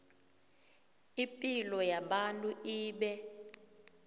ipilo yabantu ibe